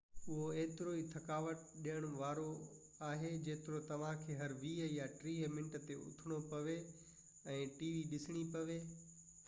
اهو ايترو ئي ٿڪاوٽ ڏيڻ وارو آهي جيترو توهان کي هر ويهہ يا ٽيهہ منت تي اٿڻو پوي ۽ ٽي وي ڏسڻي پوي